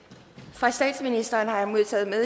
fra statsministeren har jeg modtaget